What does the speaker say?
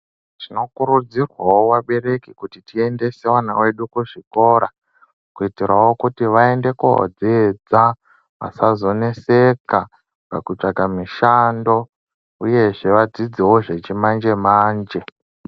Tino kurudzirwawo vabereki, kuti tiendese vana vedu kuzvikora, kuitiirawo kuti vaende kodziidza, vasazo neseka pakutsvaka mushando uyezve vadziidzewo zvechi manje manje.